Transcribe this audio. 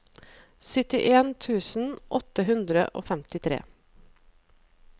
syttien tusen åtte hundre og femtitre